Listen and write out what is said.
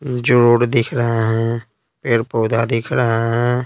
जोड़ दिख रहा है पेड़ पौधा दिख रहा है।